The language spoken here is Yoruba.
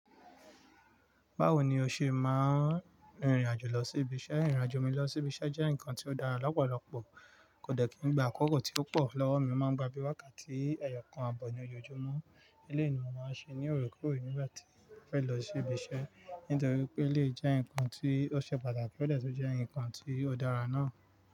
Báwo ni o ṣe máa ń rìnrìn àjò lọ sí ibiṣẹ́? Irìn àjò mi lọ sí ibiṣẹ́ jẹ́ nǹkan tó dára lọ́pọ̀lọpọ̀, kò dẹ̀ kí n gba akókò tí ó pọ̀ lọ́wọ́ mi, o máa ń gba bí wákàtí ẹyọkan àbọ̀ ní ojoojúmọ́. Nílé ele ni mo máa ń ṣe ní òre kore nígbà tí mo fẹ́ lọ sí ibiṣẹ́, nítorí pé elè jẹ́ ǹkan tí ó ṣe pàtàkì ó dẹ̀ tun jẹ́ ǹkan tí ó dára náà.